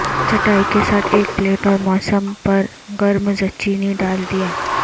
چٹائی کے ساتھ ایک پلیٹ اور موسم پر گرم زچینی ڈال دیا